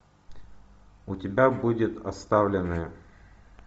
у тебя будет оставленные